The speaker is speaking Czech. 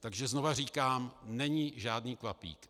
Takže znovu říkám, není žádný kvapík.